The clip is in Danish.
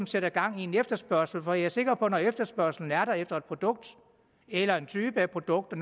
sætte gang i en efterspørgsel for jeg er sikker på at når efterspørgslen er der efter et produkt eller en type af produkter